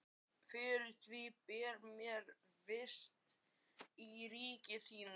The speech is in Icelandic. Fyrir því ber mér vist í ríki þínu.